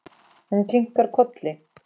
Hún kinkar kolli.